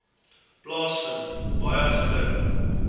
plaasvind baie geluk